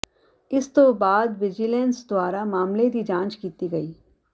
ਇਸ ਤੋਂ ਬਾਅਦ ਵਿਜੀਲੈਂਸ ਦੁਆਰਾ ਮਾਮਲੇ ਦੀ ਜਾਂਚ ਕੀਤੀ ਗਈ